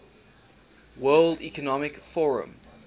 world economic forum